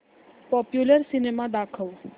popular cinema दाखव